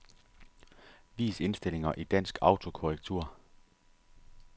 Vis indstillinger i dansk autokorrektur.